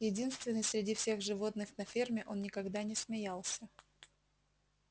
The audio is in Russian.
единственный среди всех животных на ферме он никогда не смеялся